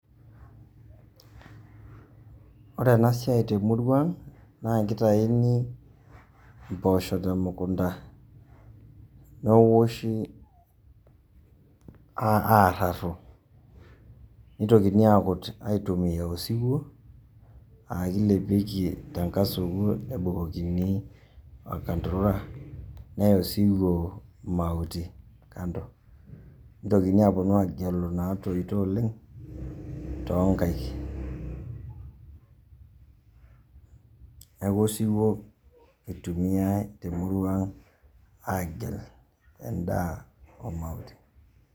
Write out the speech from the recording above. Ore enasiai temurua na keitaini mpoosho temekunda neoshi arrarru, nitokini akut aitumia osiwuo aa kilepieki tenkasuku neya osiwuo mautii, nitokini aapuonu agelu natoito oleng' tonkaek neaku osiwuo eitumiae temurua agel endaa omautii.